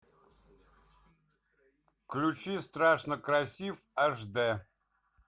включи страшно красив аш дэ